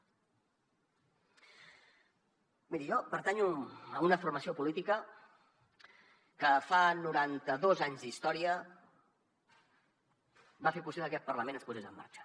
miri jo pertanyo a una formació política que fa noranta dos anys d’història va fer possible que aquest parlament es posés en marxa